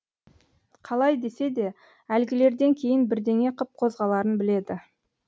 қалай десе де әлгілерден кейін бірдеңе қып қозғаларын біледі